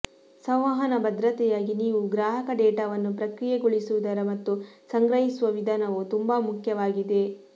ಸಂವಹನ ಭದ್ರತೆಯಾಗಿ ನೀವು ಗ್ರಾಹಕ ಡೇಟಾವನ್ನು ಪ್ರಕ್ರಿಯೆಗೊಳಿಸುವುದರ ಮತ್ತು ಸಂಗ್ರಹಿಸುವ ವಿಧಾನವು ತುಂಬಾ ಮುಖ್ಯವಾಗಿದೆ